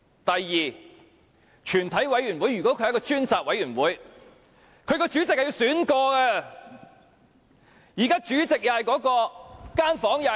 第二，全體委員會如果是一個專責委員會，其主席便應該重新選出。